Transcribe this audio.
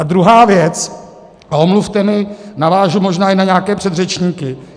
A druhá věc, a omluvte mě, navážu možná i na nějaké předřečníky.